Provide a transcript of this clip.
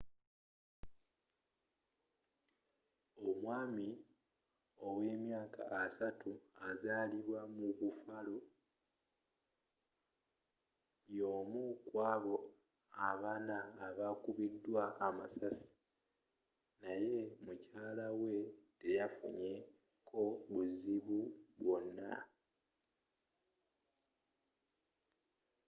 omwami owe emyaka 30 azalibwa mu buffalo y’omu kwabo abanna abakubiddwa amasasi naye mukyala we teyafunye ko buzibu bwona